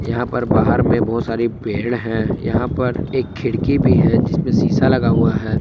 यहां पर बाहर में बहुत सारी पेड़ है। यहां पर एक खिड़की भी है जिसमें शीशा लगा हुआ है।